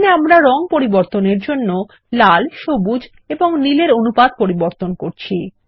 এখানে আমরা রং পরিবর্তন এর জন্য লাল সবুজ এবং নীল এর অনুপাত পরিবর্তন করছি